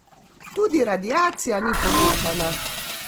Tudi radiacija ni povečana.